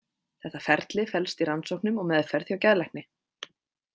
Þetta ferli felst í rannsóknum og meðferð hjá geðlækni.